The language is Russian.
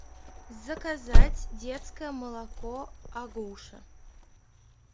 заказать детское молоко агуша